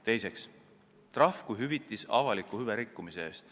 Teiseks on trahv hüvitis ühiskonnale selle eest, et on avalikku hüve rikutud.